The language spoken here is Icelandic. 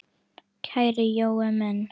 Kæri Jói minn.